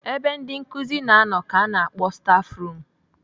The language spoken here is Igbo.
Ebe ndị nkụzi na-anọ ka ana akpọ stafrum.